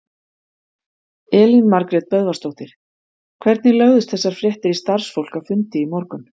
Elín Margrét Böðvarsdóttir: Hvernig lögðust þessar fréttir í starfsfólk á fundi í morgun?